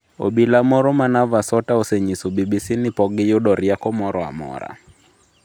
Obila moro ma Navasota osenyiso BBC ni pok giyudo rieko moro amora.